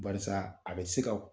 Barisaa a bɛ se ka